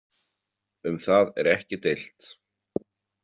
Um það er ekki deilt.